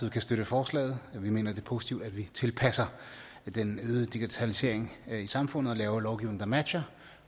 kan støtte forslaget vi mener det er positivt at vi tilpasser den øgede digitalisering i samfundet og laver en lovgivning der matcher